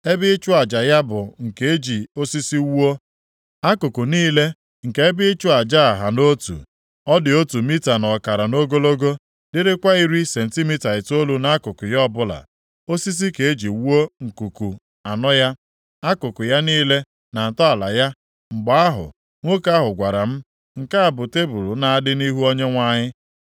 Ebe ịchụ aja ya bụ nke eji osisi wuo. Akụkụ niile nke ebe ịchụ aja a ha nʼotu. Ọ dị otu mita na ọkara nʼogologo, dịrịkwa iri sentimita itoolu nʼakụkụ ya ọbụla. Osisi ka e ji wuo nkuku anọ ya, akụkụ ya niile, na ntọala ya. Mgbe ahụ, nwoke ahụ gwara m, “Nke a bụ tebul na-adị nʼihu Onyenwe anyị.”